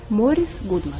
Morris Qudman.